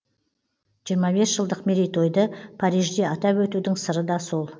жиырма бес жылдық мерейтойды парижде атап өтудің сыры да сол